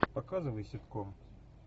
показывай ситком